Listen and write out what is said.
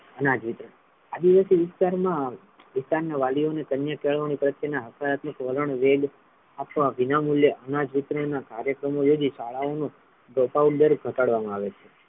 અનાજ વિતરણ આદિવાસી વિસ્તાર મા પિતાને વાલિયો ને કન્યા કેળવણી પ્રત્યે ના હકારાત્મક વલણ વેદ આપવા વિનામૂલ્ય અનાજ વિતરણ ના કાર્યક્રમો થી શાળાઓ નુ ઘટાડવામા આવે છે.